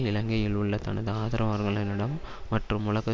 இலங்கையில் உள்ள தனது ஆதரவாளர்களிடம் மற்றும் உலக